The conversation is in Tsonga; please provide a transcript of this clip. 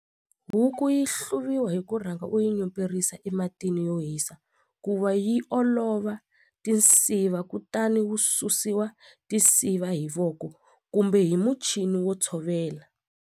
Huku yi hluvisiwa hi ku rhanga u yi nyuperisiwa ematini yo hisa ku va yi olova tinsiva kutani wu susiwa tinsiva hi voko kumbe hi muchini wo tshovela.